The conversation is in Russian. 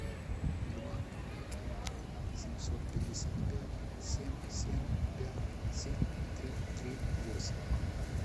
два семьсот пятьдесят пять семь семь пять семь три три восемь